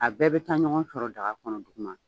A bɛɛ bɛ taa ɲɔgɔn sɔrɔ daga kɔnɔ duguma